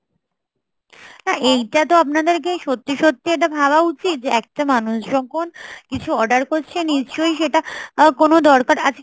না এইটাতো আপনাদেরকে সত্যি সত্যি এটা ভাবা উচিত যে একটা মানুষ যখন কিছু order করছে নিশ্চই সেটা কোন দরকার আছে